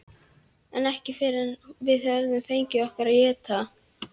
En ekki fyrr en við höfum fengið okkur að éta.